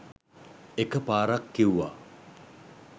එක පාරක් කිව්වා